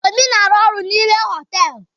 Obi na-aru oru n'ime họtelu.